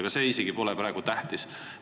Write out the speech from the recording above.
Aga see pole isegi praegu tähtis.